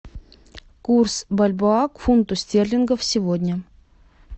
курс бальбоа к фунту стерлингов сегодня